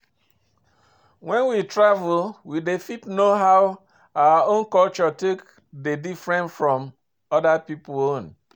When we travel we dey fit know how our own culture take dey different from oda pipo own